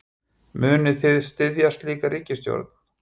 Munið þið styðja slíka ríkisstjórn?